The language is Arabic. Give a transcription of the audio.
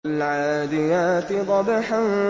وَالْعَادِيَاتِ ضَبْحًا